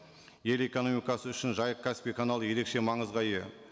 ел экномикасы үшін жайық каспий каналы ерекше маңызға ие